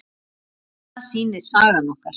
Það sýnir sagan okkur.